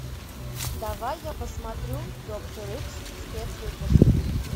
давай я посмотрю доктор икс спецвыпуск